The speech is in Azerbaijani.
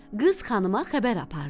Qız xanıma xəbər apardı.